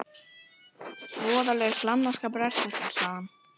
Voðalegur glannaskapur er þetta, sagði hann.